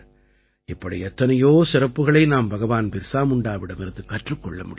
இப்படி எத்தனையோ சிறப்புகளை நாம் பகவான் பிர்சா முண்டாவிடமிருந்து கற்றுக் கொள்ள முடியும்